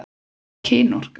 Hvað er kynorka?